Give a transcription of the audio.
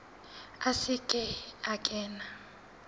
a se ke a kena